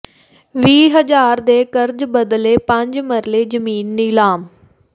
ਵੀਹ ਹਜ਼ਾਰ ਦੇ ਕਰਜ਼ ਬਦਲੇ ਪੰਜ ਮਰਲੇ ਜ਼ਮੀਨ ਨਿਲਾਮ